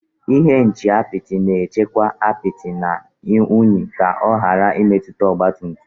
Ihe nche apịtị na-echebe apịtị na unyi ka ọ ghara imetụta ọgba tum tum